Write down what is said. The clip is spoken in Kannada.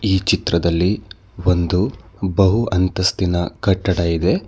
ಈ ಚಿತ್ರದಲ್ಲಿ ಒಂದು ಬಹು ಅಂತಸ್ತಿನ ಕಟ್ಟಡ ಇದೆ.